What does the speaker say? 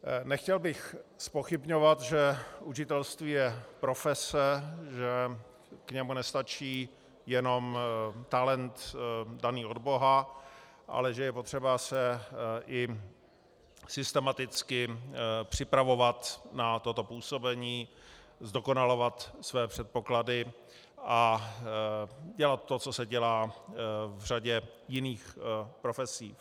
Nechtěl bych zpochybňovat, že učitelství je profese, že k němu nestačí jenom talent daný od boha, ale že je potřeba se i systematicky připravovat na toto působení, zdokonalovat své předpoklady a dělat to, co se dělá v řadě jiných profesí.